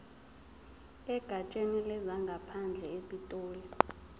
egatsheni lezangaphandle epitoli